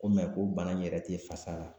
Ko o bana in yɛrɛ tɛ fasa la